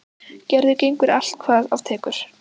Gerður gengur allt hvað af tekur.